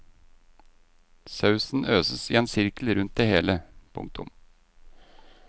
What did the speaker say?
Sausen øses i en sirkel rundt det hele. punktum